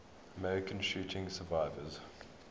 american shooting survivors